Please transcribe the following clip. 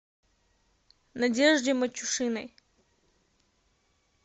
надежде матюшиной